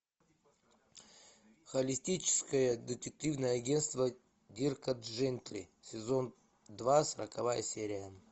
холистическое детективное агентство дирка джентли сезон два сороковая серия